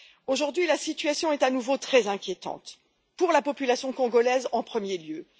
Aujourd'hui, la situation est à nouveau très inquiétante, pour la population congolaise en premier lieu.